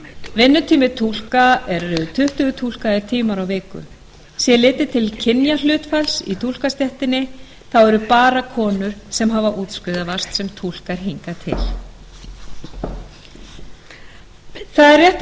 vinnutími túlka er tuttugu túlkaðir tímar á viku sé litið til kynjahlutfalls í túlkastéttinni eru bara konur sem hafa útskrifast sem túlkar hingað til það er rétt